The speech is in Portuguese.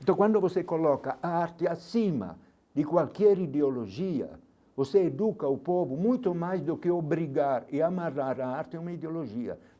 Então quando você coloca arte acima de qualquer ideologia, você educa o povo muito mais do que obrigar e amarrar a arte é uma ideologia.